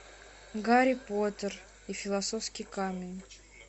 гарри поттер и философский камень